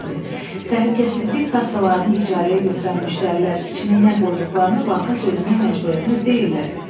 Təhlükəsizlik kassalarını icarəyə götürən müştərilər içinə nə qoyduqlarını banka söyləmək məcburiyyətində deyillər.